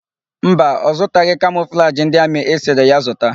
Mba, ọ zụtaghị kamọflajị ndị amị ị sịrị ya zụta.